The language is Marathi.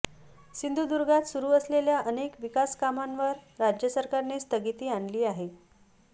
सिंधुदुर्गात सुरू असलेल्या अनेक विकासकामांवर राज्य सरकारने स्थगिती आणली आहे